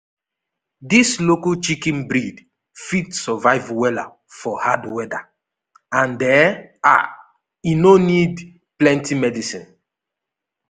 dis local chicken breed fit survive wella for hard weather and e um no need plenty medicine.